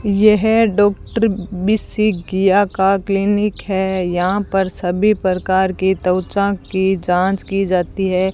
यह डॉक्टर बिसिकिया का क्लीनिक है यहां पर सभी प्रकार की त्वचा की जांच की जाती है।